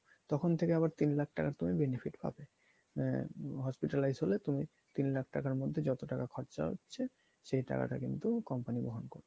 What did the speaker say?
তখন থেকে আবার তিন লাখ টাকার তুমি benefit পাবে আহ hospitalized হলে তুমি তিন লাখ টাকার মধ্যে যত টাকা খরচা হচ্ছে সেই টাকাটা কিন্তু company বহন করবে।